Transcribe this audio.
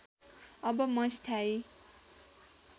अब म स्थायी